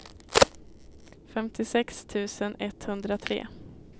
femtiosex tusen etthundratre